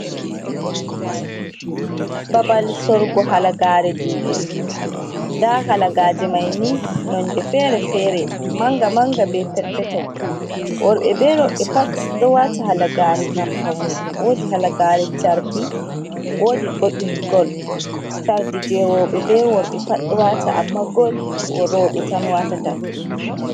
Babal sorgo halagare juɗe nda halagaje maini nonde fere-fere manga manga be perpeton, worɓe be roɓɓe pat ɗo wata halagare gam paune wodi halagare chardi wodi bo ɗum gol chardi je worɓe ɓe roɓɓe pat ɗo wata amma gol roɓɓe tan watata.